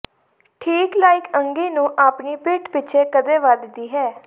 ਠੀਕ ਲਾਇਕ ਅੰਗੀ ਨੂੰ ਆਪਣੀ ਪਿੱਠ ਪਿੱਛੇ ਕਦੇ ਵੱਧਦੀ ਹੈ